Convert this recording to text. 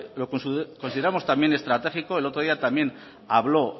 lo consideramos también estratégico el otro día también habló